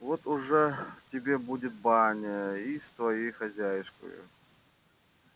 вот уже тебе будет баня и с твоею хозяюшкою